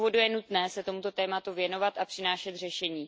nutné se tomuto tématu věnovat a přinášet řešení.